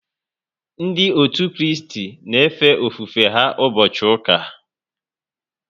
Ndị òtù Kristi na efe ofufe ha ụbọchị ụka